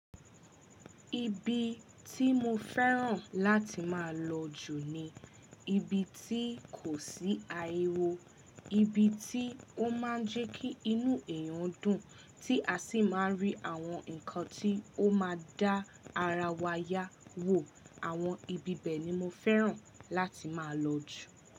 Ibi tí mo fẹ́ràn láti máa lọ jù ni ibi tí kò sí ariwo, ibi tí ó máa ń jẹ́ kí inú èèyàn dùn, tí a sì máa ń rí àwọn nǹkan tí ó ma dá ara wa yá wò. Àwọn ibi bẹ̀ ni mo fẹ́ràn láti máa lọ jù.